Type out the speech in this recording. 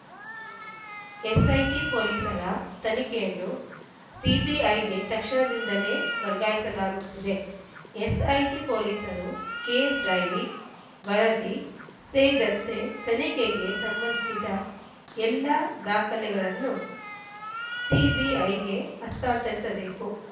SIT ಪೊಲೀಸರ ತನಿಖೆಯನ್ನು ಸಿಬಿಐಗೆ ತಕ್ಷಣದಿಂದಲೇ ವರ್ಗಾಯಿಸಲಾಗುತ್ತಿದೆ ಎಸ್‌ಐಟಿ ಪೊಲೀಸರು ಕೇಸ್‌ ಡೈರಿ ವರದಿ ಸೇರಿದಂತೆ ತನಿಖೆಗೆ ಸಂಬಂಧಿಸಿದ ಎಲ್ಲ ದಾಖಲೆಗಳನ್ನು ಸಿಬಿಐಗೆ ಹಸ್ತಾಂತರಿಸಬೇಕು